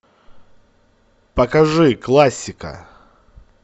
покажи классика